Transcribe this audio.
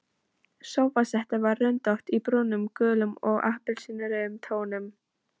Sófasettið var röndótt í brúnum, gulum og appelsínurauðum tónum.